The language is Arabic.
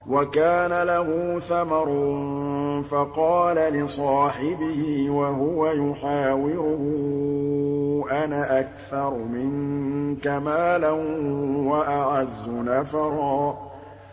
وَكَانَ لَهُ ثَمَرٌ فَقَالَ لِصَاحِبِهِ وَهُوَ يُحَاوِرُهُ أَنَا أَكْثَرُ مِنكَ مَالًا وَأَعَزُّ نَفَرًا